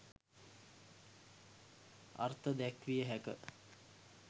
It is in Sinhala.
අර්ථ දැක්විය හැක